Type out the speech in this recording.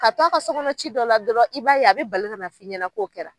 Ka t'o a ka so kɔnɔ ci dɔ la dɔrɔn, i b'a ye a bi bali kana f'i ɲɛna k'o kɛra.